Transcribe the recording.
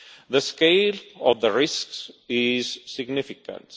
The scale of the risks is significant.